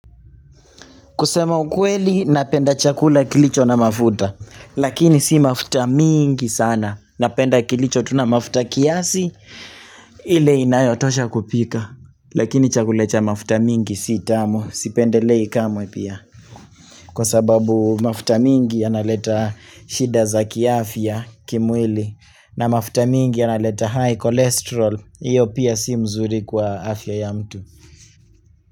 Kusema ukweli napenda chakula kilicho na mafuta lakini si mafuta mingi sana napenda kilicho tu na mafuta kiasi ile inayotosha kupika lakini chakula cha mafuta mingi si tamu sipendelei kamwe pia kwa sababu mafuta mingi yanaleta shida za kiafya kimwili na mafuta mingi ya naleta high cholesterol iyo pia si mzuri kwa afya ya mtu.